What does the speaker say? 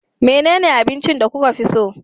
Menene abincin da kuka fi so